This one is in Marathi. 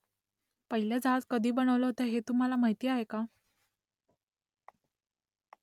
पहिलं जहाज कधी बनवलं होतं ते तुम्हाला माहीत आहे का ?